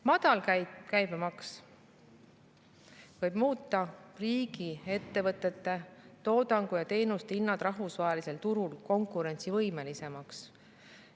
Madal käibemaks võib muuta riigiettevõtete toodangu ja teenuste hinnad rahvusvahelisel turul konkurentsivõimelisemaks.